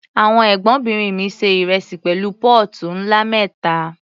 Àwọn Ẹ̀gbọ́nbìnrin mi se ìrẹsì pẹ̀lú póòtù ńlá mẹ́ta.